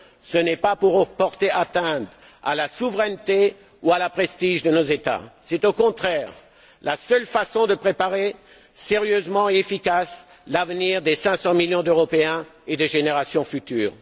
Ce n'est pas pour porter atteinte à la souveraineté ou au prestige de nos États. C'est au contraire la seule façon de préparer sérieusement et efficacement l'avenir des 500 millions d'Européens et des générations futures.